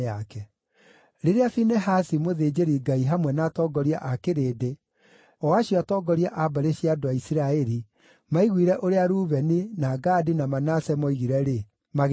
Rĩrĩa Finehasi, mũthĩnjĩri-Ngai hamwe na atongoria a kĩrĩndĩ, o acio atongoria a mbarĩ cia andũ a Isiraeli maaiguire ũrĩa Rubeni, na Gadi, na Manase moigire-rĩ, magĩkena.